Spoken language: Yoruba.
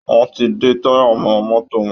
Wọn ti ń de táyà mọ́ mọ́tò wọn